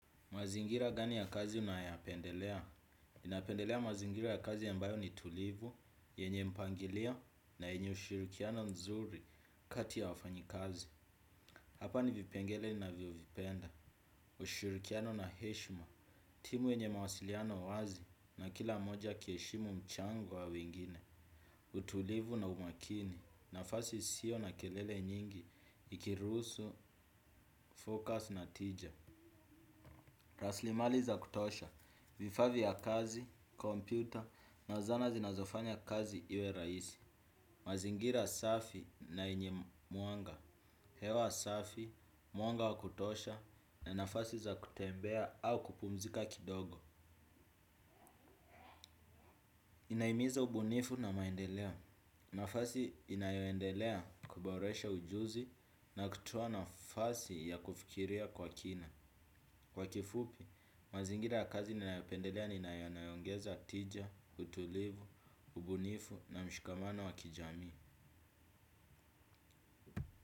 Mazingira gani ya kazi unayopendelea? Napendelea mazingira ya kazi ambayo ni tulivu, yenye mpangilio na yenye ushirikiano nzuri kati ya wafanyikazi. Hapa ni vipengele ninavyo vipenda. Ushirikiano na heshima, timu yenye mawasiliano wazi na kila mmoja akiheshimu mchango wa wingine. Utulivu na umakini, nafasi isio na kelele nyingi, ikirusu, focus na tija. Raslimali za kutosha, vifaa vya kazi, kompyuta na zana zinazofanya kazi iwe rahisi. Mazingira safi na yenye mwanga. Hewa safi, mwanga wa kutosha na nafasi za kutembea au kupumzika kidogo. Inahimiza ubunifu na maendeleo nafasi inayoendelea kuboresha ujuzi na kutoa nafasi ya kufikiria kwa kina. Kwa kifupi, mazingira ya kazi ninayapendelea ni na yanayoongeza tija, utulivu, ubunifu na mshikamano wakijamii.